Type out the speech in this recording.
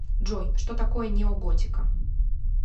джой что такое неоготика